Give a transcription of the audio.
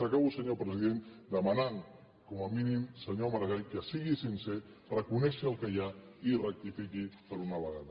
acabo senyor president demanant com a mínim senyor maragall que sigui sincer reconegui el que hi ha i rectifiqui per una vegada